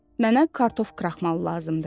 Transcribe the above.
Mənə kartof kraxmalı lazımdır.